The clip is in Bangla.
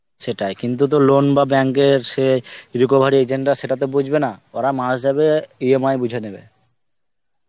সেটাই. কিন্তু তো loan বা bank এর সে recovery agent টা সেটা তো বুঝবে না. ওরা মাস যাবে EMI বুঝে নেবে.